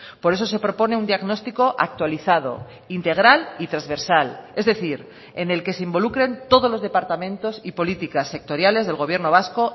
por eso se propone un diagnóstico actualizado integral y transversal es decir en el que se involucren todos los departamentos y políticas sectoriales del gobierno vasco